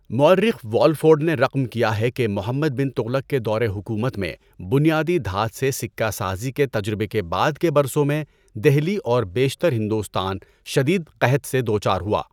مورخ والفورڈ نے رقم کیا ہے کہ محمد بن تغلق کے دور حکومت میں بنیادی دھات سے سکہ سازی کے تجربے کے بعد کے برسوں میں، دہلی اور بیشتر ہندوستان شدید قحط سے دو چار ہوا۔